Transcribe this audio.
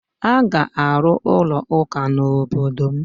A ga-arụ ụlọụka n'obodo m